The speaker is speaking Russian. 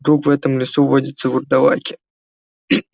вдруг в этом лесу водятся вурдалаки